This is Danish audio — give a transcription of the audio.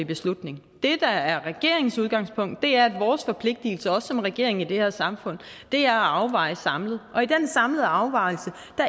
beslutning det der er regeringens udgangspunkt er at vores forpligtelser også som regering i det her samfund er at afveje samlet og i den samlede afvejning